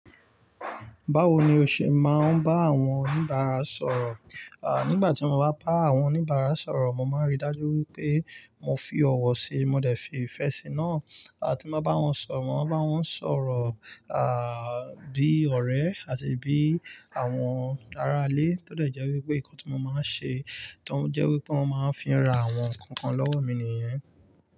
Báwo ni o ṣe máa ń bá àwọn oníbàárà sọ̀rọ̀? Nígbà tí mo bá bá àwọn oníbàárà sọ̀rọ̀, mo máa ń rí dájú wípé mo fi ọ̀wọ̀ si, mo dẹ̀ fi ìfẹ́ sí náa. Àti ma bá wọn sọ̀rọ̀, bá wọn sọ̀rọ̀, bí ọ̀rẹ́ àti bí àwọn ará ilé tó dẹ̀ jẹ́ wípé nǹkan tí mo máa ń ṣe, tó ń jẹ́ wípé wọ́n máa ń fi ra àwọn nnkankan lọ́wọ́ mi nìyẹn.